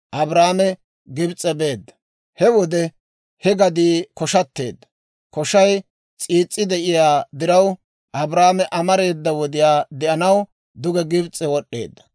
He wode he gadii koshateedda; koshay s'iis's'i de'iyaa diraw, Abraame amareeda wodiyaa de'anaw duge Gibis'e wod'd'eedda.